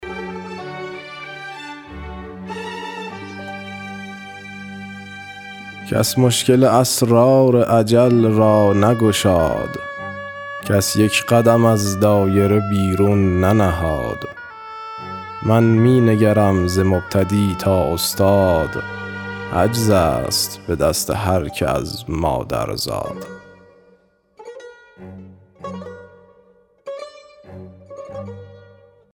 کس مشکل اسرار اجل را نگشاد کس یک قدم از دایره بیرون ننهاد من می نگرم ز مبتدی تا استاد عجز است به دست هرکه از مادر زاد